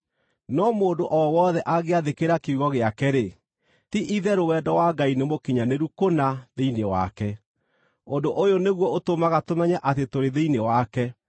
No mũndũ o wothe angĩathĩkĩra kiugo gĩake-rĩ, ti-itherũ wendo wa Ngai nĩmũkinyanĩru kũna thĩinĩ wake. Ũndũ ũyũ nĩguo ũtũmaga tũmenye atĩ tũrĩ thĩinĩ wake: